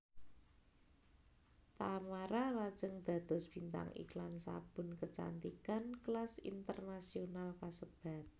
Tamara lajeng dados bintang iklan sabun kecantikan kelas internasional kasebat